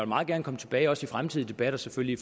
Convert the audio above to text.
meget gerne komme tilbage også i fremtidige debatter selvfølgelig